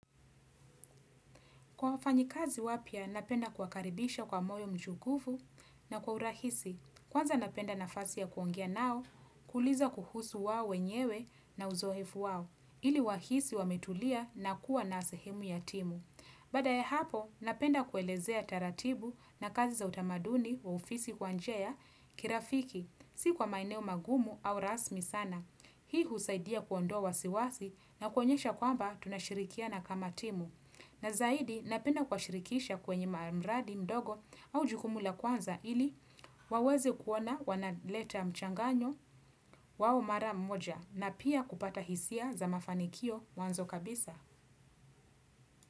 Kwa mfanyikazi wapya napenda kuwa karidisha kwa moyo mkunjufu na kwa urahisi, kwanza napenda nafasi ya kuongoa nao, kuuliza kuhusu wao wenyewe na uzoefu wao, ili wahisi wa metulia na kuwa nasehemu ya timu. Baada ya hapo, napenda kuelezea taratibu na kazi za utamaduni wa ufisi kwa njia kirafiki, si kwa maeneo magumu au rasmi sana. Hii husaidia kuondoa wasiwasi na kuonyesha kwamba tunashirikia na kama timu. Na zaidi napenda kuwa shirikisha kwenye maradi mdogo au jukumula kwanza ili wawezi kuona wana leta mchanganyo wao mara moja na pia kupata hisia za mafanikio mwanzo kabisa.